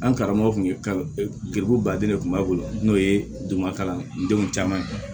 An karamɔgɔ kun ye giriko baden de kun b'a bolo n'o ye duguma kalan denw caman ye